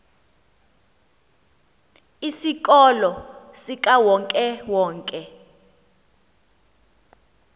isikolo sikawonke wonke